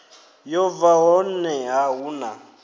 yo bva honeha hu na